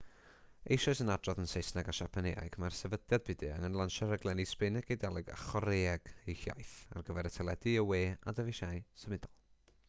eisoes yn adrodd yn saesneg a siapaneg mae'r sefydliad byd-eang yn lansio rhaglenni sbaeneg eidaleg a chorëeg eu hiaith ar gyfer y teledu y we a dyfeisiau symudol